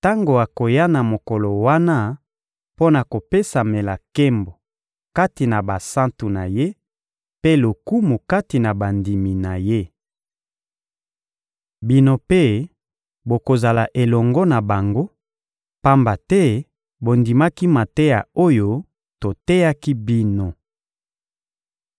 tango akoya na mokolo wana mpo na kopesamela nkembo kati na basantu na Ye, mpe lokumu kati na bandimi na Ye. Bino mpe bokozala elongo na bango, pamba te bondimaki mateya oyo toteyaki bino.